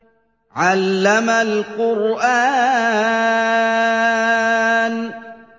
عَلَّمَ الْقُرْآنَ